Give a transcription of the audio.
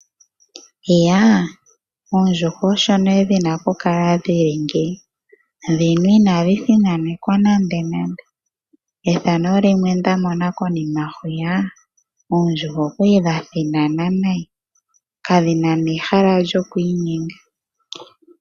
Iyaa! Oondjuhwa osho nee dhina oku kala dhili ngeyi. Dhina inadhi thinanekwa nande nande. Efano limwe nda mona konima hwiya oondjuhwa odhali dha thinana nayi kadhina nehala lyoku inyenga.